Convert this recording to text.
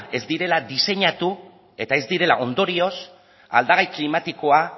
ez direla diseinatu eta ez direla ondorioz aldagai klimatikoa